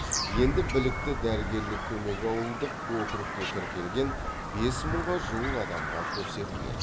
енді білікті дәрігерлік көмек ауылдық округке тіркелген бес мыңға жуық адамға көрсетіледі